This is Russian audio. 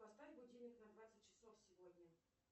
поставь будильник на двадцать часов сегодня